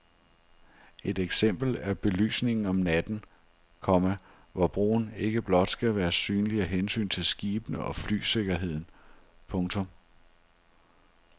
Et eksempel er belysningen om natten, komma hvor broen ikke blot skal være synlig af hensyn til skibene og flysikkerheden. punktum